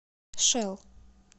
шэл